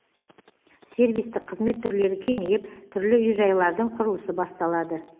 сервистік қызмет түрлері кеңейіп түрлі үй жайлардың құрылысы басталады